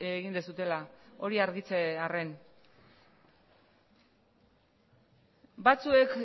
egin duzuela hori argitzearren batzuek